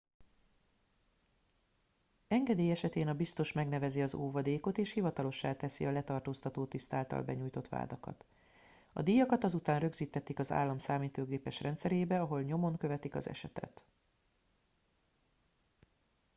engedély esetén a biztos megnevezi az óvadékot és hivatalossá teszi a letartóztató tiszt által benyújtott vádakat a díjakat azután rögzítetik az állam számítógépes rendszerébe ahol nyomon követik az esetet